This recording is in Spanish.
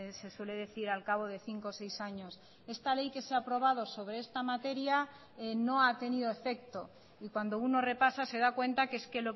se suele decir al cabo de cinco o seis años esta ley que se ha aprobado sobre esta materia no ha tenido efecto y cuando uno repasa se da cuenta que es que